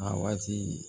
A waati